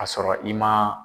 a sɔrɔ i man